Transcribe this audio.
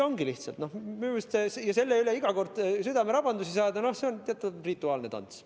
Minu meelest on see, et selle pärast iga kord südamerabandus saadakse, lihtsalt teatud rituaalne tants.